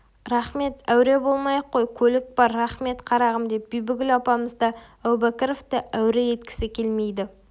рахмет әуре болмай-ақ қой көлік бар рахмет қарағым деп бибігүл апамыз да әубәкіровті әуре еткісі келмейді